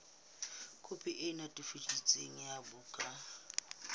khopi e netefaditsweng ya bukana